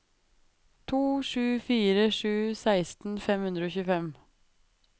to sju fire sju seksten fem hundre og tjuefem